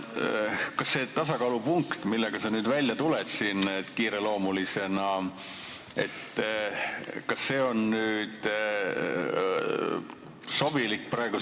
Kas see tasakaalupunkt, millega sa kiireloomulisena välja oled tulnud, on nüüd sobilik?